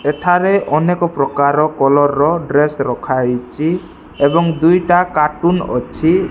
ଏଠାରେ ଅନେକ ପ୍ରକାରର କଲର୍ ର ଡ୍ରେସ୍ ରଖା ହେଇଛି ଏବଂ ଦୁଇଟା କାର୍ଟୁନ୍ ଅଛି।